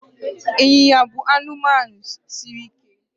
ịnyịnya bụ anụmanụ siri ike